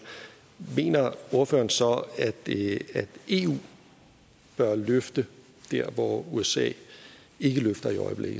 mener ordføreren så at eu bør løfte dér hvor usa ikke løfter